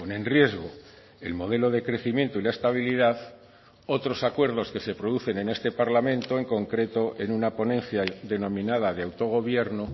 en riesgo el modelo de crecimiento y la estabilidad otros acuerdos que se producen en este parlamento en concreto en una ponencia denominada de autogobierno